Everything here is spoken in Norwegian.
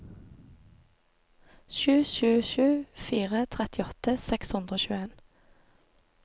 sju sju sju fire trettiåtte seks hundre og tjueen